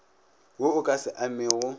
wo o ka se amego